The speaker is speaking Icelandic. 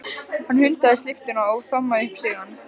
Hann hundsaði lyftuna og þrammaði upp stigana.